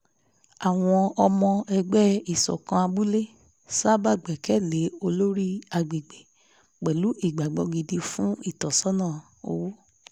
àwọn ọmọ ẹgbẹ́ ìṣọ̀kan abúlé sábà gbẹ́kẹ̀ lé olórí agbègbè pẹ̀lú ìgbàgbọ́ gidi fún ìtọ́sọ́nà owó